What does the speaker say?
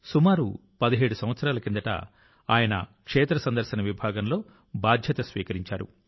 సుమారు 17 సంవత్సరాల కిందట ఆయన క్షేత్ర సందర్శన విభాగంలో బాధ్యత స్వీకరించారు